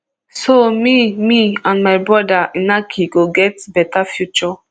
so me me and my brother inaki go get beta future